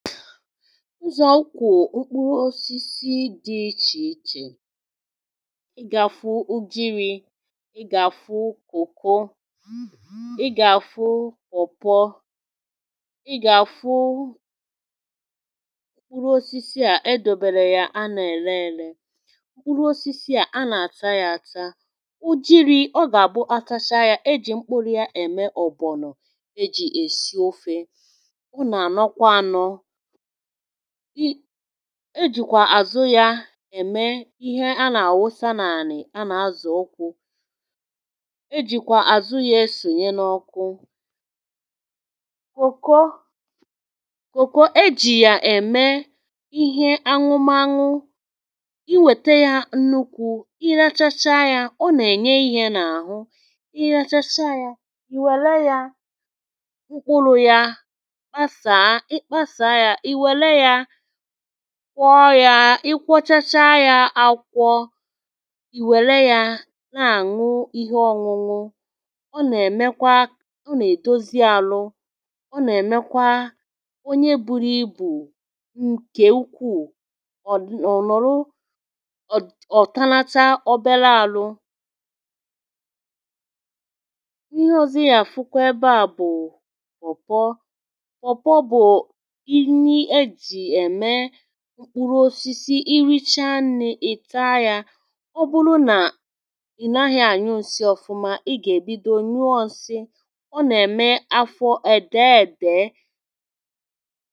ụzọ̀ ukwù mkpụrụ osisi dị̇ ichè ichè ị gà-àfụ ujiri̇, ị gà-àfụ kòko ị gà-àfụ pọ̀pọ ị ga-àfụ mkpụrụ osisi à e dȯbėrė yà a nà-ère ėre mkpụrụ osisi à a nà-àta yȧ ata ụjiri̇, ọ gà-àbụ atacha yȧ, e jì mkpụrụ̇ ya ème ọ̀bọ̀nọ̀ ejì èsi ofė e jìkwà àzụ ya ème ihe a nà-àwụsa n’ànị̀ a nà-azà ụkwụ e jìkwà àzụ ya esònye n’ọkụ kòko kòko e jì ya ème ihe anwụmȧnwụ i wète ya nnukwu̇ ị rachacha ya ọ nà-ènye ihė n’àhụ i rachacha ya ìwèle ya kwọọ yȧ, ịkwọchacha yȧ akwọ ìwèle yȧ na-àṅụ ihe ọ̇ṅụṅụ ọ nà-èmekwa ọ nà-èdozi àlụ ọ nà-èmekwa onye buru ibù ǹkè ukwuù ọ̀ dị.. ọ̀ nọ̀rụ ọ̀..ọ̀ tanacha obele àlụ mkpụrụ osisi richaa nni ị taa yȧ ọ bụrụ nà ị naghị anyị nsị ọfụma ị gà-èbido nuusị ọ nà-ème afọ ède ède